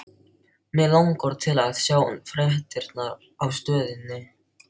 Mig langar til að sjá fréttirnar á Stöðinni.